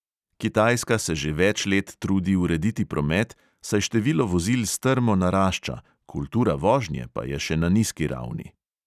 Kitajska se že več let trudi urediti promet, saj število vozil strmo narašča, kultura vožnje pa je še na nizki ravni.